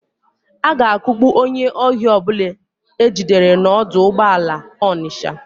A ga-akugbu onye ohi ọbụla e jidere n'ọdụ ụgbọala Ọnịsha.